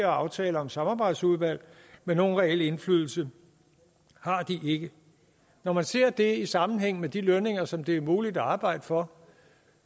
aftaler om samarbejdsudvalg men nogen reel indflydelse har de ikke når man ser det i sammenhæng med de lønninger som det er muligt at arbejde for